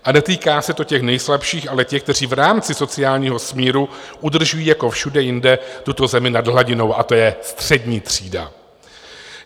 A netýká se to těch nejslabších, ale těch, kteří v rámci sociálního smíru udržují jako všude jinde tuto zemi nad hladinou, a to je střední třída.